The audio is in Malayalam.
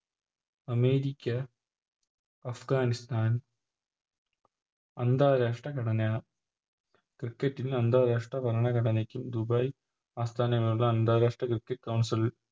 അമേരിക്ക അഫ്ഗാനിസ്ഥാൻ അന്താരാഷ്ട ഘടനയാണ് Cricket ൽ അന്താരാഷ്ട്ര ഭരണ ഘടനക്ക് ദുബായ് ആസ്ഥാനമായുള്ള അന്താരാഷ്ര Cricket council ൽ